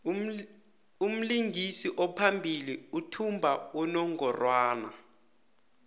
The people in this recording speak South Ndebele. umlingisi ophambili uthumba unongorwand